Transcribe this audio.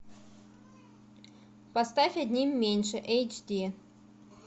поставь одним меньше эйч ди